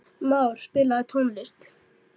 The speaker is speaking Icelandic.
Már, spilaðu tónlist.